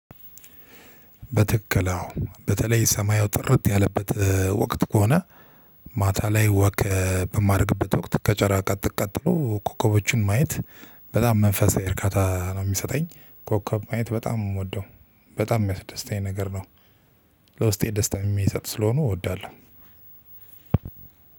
በትክክል አወ በተለይ ሰማዩ ጥርት ያለበት ወቅት ከሆነ ማታ ላይ ወከ በማድረግበት ወቅት ከጨረቃ ቀጥሎ ኮከቦችን ማየት በጣም መንፈሳዊ እርካታ ነው የሚሰጠኝ። ኮከብ ማየት በጣም የምወደው በጣም የሚያስደስተኝ ነገር ነው። ለውስጤ ደስታ ሚሰጡ ስለሆኑ እወዳለሁ።